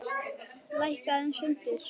Lækka aðeins undir.